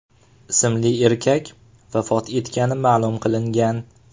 ismli erkak vafot etgani ma’lum qilingan.